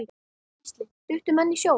Gísli: Duttu menn í sjóinn?